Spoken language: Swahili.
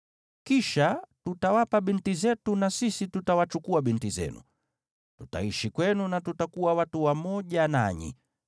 Kisha tutawapa binti zetu na sisi tutawachukua binti zenu. Tutaishi kwenu na tutakuwa watu wamoja nanyi.